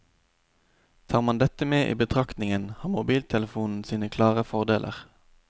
Tar man dette med i betraktningen har mobiltelefonen sine klare fordeler.